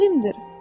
Alimdir.